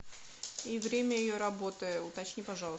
и время ее работы уточни пожалуйста